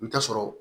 I bi taa sɔrɔ